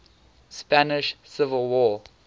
spanish civil war